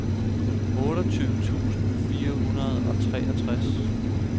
otteogtyve tusind fire hundrede og treogtres